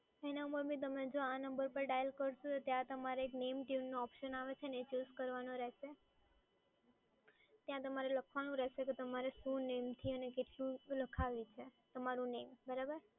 એના પર બી તમે જો આ નંબર પર ડાયલ કરશો ત્યાં તમારે name tune option આવે છે ને એ choose કરવાનું રહેશે, ત્યાં તમારે લખવાનું રહેશે કે તમારે શું name થી અને કેટલું લખાવી છે તમારું name બરાબર!